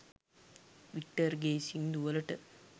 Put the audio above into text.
වික්ටර්ගෙ සින්දුවලට